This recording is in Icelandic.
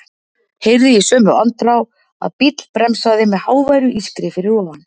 Heyrði í sömu andrá að bíll bremsaði með háværu ískri fyrir ofan.